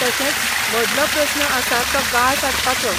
तशेंच, व्हडलो प्रस्न आसा तो गाळ सांचपाचो .